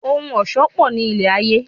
Ohun ọ̀ṣọ́ pò ní ilé ayé.